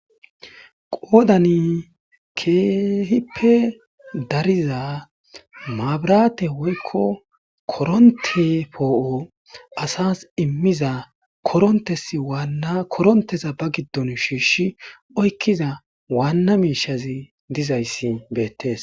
Qodani keehippe dariza mabrathe woykko koronthe po' assas immizza koronthes wanna kontheza ba gidon shishi oykiza wanna mishazi dizays bethess.